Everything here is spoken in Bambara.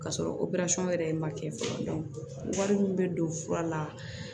K'a sɔrɔ yɛrɛ ye ma kɛ fɔlɔ wari min bɛ don fura la